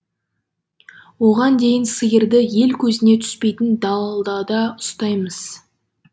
оған дейін сиырды ел көзіне түспейтін далдада ұстаймыз